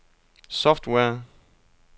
software